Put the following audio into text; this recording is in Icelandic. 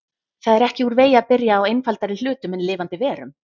Það er ekki úr vegi að byrja á einfaldari hlutum en lifandi verum.